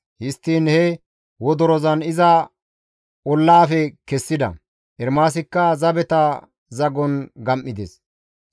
Histtiin he wodorozan iza ollaafe kessida; Ermaasikka zabeta zagon gam7ides.